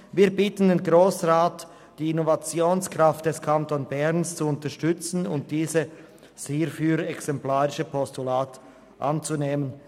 Wir bitten den Grossen Rat, die Innovationskraft des Kantons Bern zu unterstützen und dieses hierfür exemplarische Postulat anzunehmen.